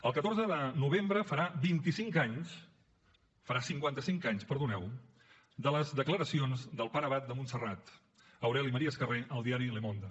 el catorze de novembre farà cinquanta cinc anys de les declaracions del pare abat de montserrat aureli maria escarré al diari le monde